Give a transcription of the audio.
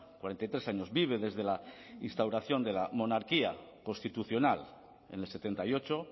cuarenta y tres años vive desde la instauración de la monarquía constitucional en el setenta y ocho